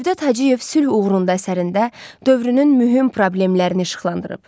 Cövdət Hacıyev sülh uğrunda əsərində dövrünün mühüm problemlərini işıqlandırıb.